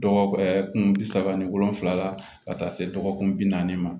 Dɔgɔkun bi saba ani wolonvila ka taa se dɔgɔkun bi naani ma